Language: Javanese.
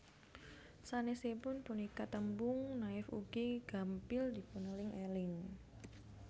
Sanesipun punika tembung Naif ugi gampil dipuneling eling